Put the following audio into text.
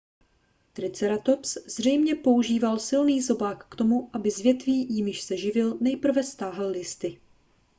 triceratops zřejmě používal silný zobák k tomu aby z větví jimiž se živil nejprve stáhl listy